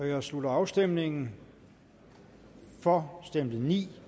jeg slutter afstemningen for stemte ni